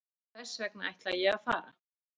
Þessvegna ætla ég að fara.